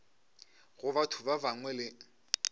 go batho ba bangwe le